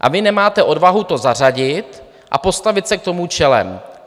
A vy nemáte odvahu to zařadit a postavit se k tomu čelem.